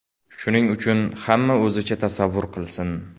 Shuning uchun hamma o‘zicha tasavvur qilsin.